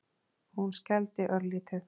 Hún skældi örlítið.